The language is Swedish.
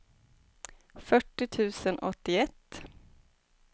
fyrtio tusen åttioett